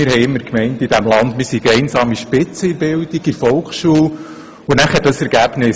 Wir hatten immer gedacht, wir seien bei der Bildung in der Volksschule einsame Spitze.